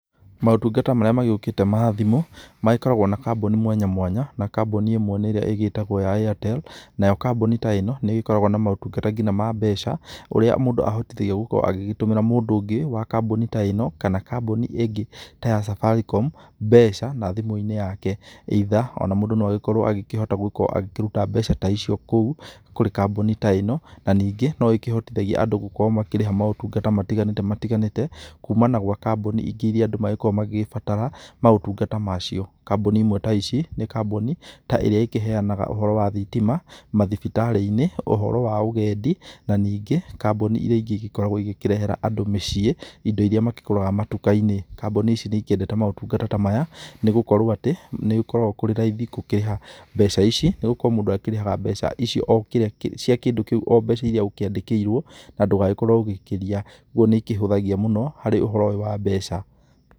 Motungata marĩa magĩukite ma thimũ, magĩkoragwo na kambuni mwanya mwanya. Na kambuni ĩmwe nĩ ĩrĩa ĩgitagwo ya Airtel, nayo kambuni ta ĩno nĩ ĩgĩkoragwo na motungata ngĩnya ma mbeca ũrĩa mũndũ ahotĩthagio gũkorwo agĩtũmira mũndũ ũngĩ wa kambuni ta ĩno na kambuni ĩngĩ ta ya Safaricom mbeca na thimu-ĩnĩ yake either. Ona mũndũ no agĩkorwo agĩkihota agĩkiruta mbeca ta ĩcĩo kũu kũrĩ kambuni ta ĩno, na ningĩ no ĩkĩhotithagia andũ motungata matiganĩti matiganĩti kumana na gwa kambuni ingĩ irĩa andũ makoragwo magĩgĩbatara motungata macĩo. Kambuni ĩmwe ta ĩcĩ, nĩ kambuni ta ĩrĩa ĩkiheanaga ũhoro wa thitima, mathibĩtari-ĩnĩ, ũhoro wa ũgendĩ, na nĩngi kambuni ĩrĩa ĩngikorwo ĩkĩrehe andũ mĩcĩe ĩndo ĩrĩa makĩguraga matuka-ĩnĩ. kambuni ĩcĩ nĩ ĩkĩendete motungata ta maya nĩ gukorwo atĩ nĩ gũkoragwo kũrĩ raĩthi gũkĩriha mbeca ĩcĩ nĩ gũkorwo mũndũ akĩrihaga mbeca ĩcĩo cĩa kĩndũ kĩu oo mbeca ĩria ũkĩandikĩirwo na ndũgagkorwo ũgĩkiria, ũguo nĩ ĩkihũthagia mũno ũhoro wa mbeca.